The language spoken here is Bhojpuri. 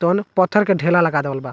तो न पत्थल के ढेला लगा देबल बा।